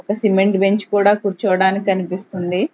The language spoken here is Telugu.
ఒక సిమెంట్ బెంచ్ కూడా కూర్చోవడానికి కనిపిస్తుంది.